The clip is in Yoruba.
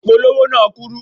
Ìpolówó náà kúrú.